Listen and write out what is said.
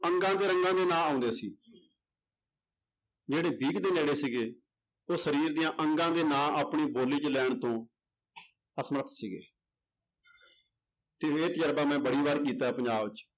ਅੰਗਾਂ ਤੇ ਰੰਗਾਂ ਦੇ ਨਾਂ ਆਉਂਦੇ ਸੀ ਜਿਹੜੇ ਵੀਹ ਕੁ ਦੇ ਨੇੜੇ ਸੀਗੇ, ਉਹ ਸਰੀਰ ਦੇ ਅੰਗਾਂ ਦੇ ਨਾਂ ਆਪਣੀ ਬੋਲੀ 'ਚ ਲੈਣ ਤੋਂ ਅਸਮਰਥ ਸੀਗੇ ਤੇ ਇਹ ਤਜਰਬਾ ਮੈਂ ਬੜੀ ਵਾਰ ਕੀਤਾ ਹੈ ਪੰਜਾਬ 'ਚ